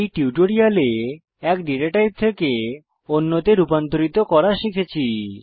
এই টিউটোরিয়ালে এক ডেটা টাইপ থেকে অন্যতে রুপান্তরিত করা শিখেছি